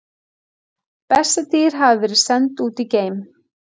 Bessadýr hafa verið send út í geim!